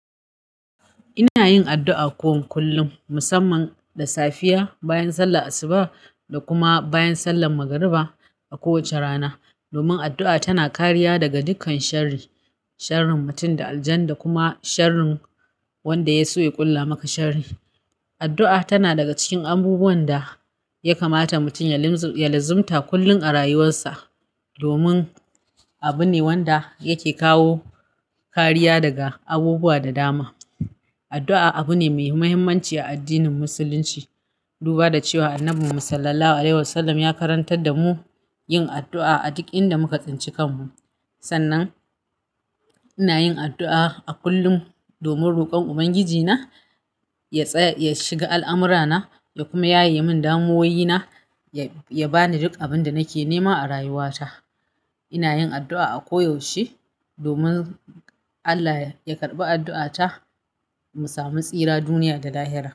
Ina yin addu'a ko kullum, musamman da safiya bayan sallar asuba da kuma bayan sallar magariba a kowace rana. Domin addu'a tana kariya daga dukkan sharri, sharrin mutum da aljan da kuma sharrin wanda ya so ya ƙulla maka sharri. Addu'a tana daga cikin abubuwan da ya kamata mutum ya luzumta kullum a rayuwarsa. Domin abu ne wanda yake kawo kariya daga abubuwa da dama. Addu'a abu ne mai muhimmanci a addinin musulunci. Duba da cewa Annabi Sallallahu Alaihi Wasallam ya karantar da mu yin addu'a a duk inda muka tsinci kanmu. Sannan ina yin addu'a a kullum domin rokon Ubangijina ya shiga al'amura na ya kuma yaye min damuwoyi na ya bani duk abin da nake nema a rayuwata. Ina yin addu'a a koyaushe domin Allah ya karɓi addu'ata mu samu tsira duniya da lahira.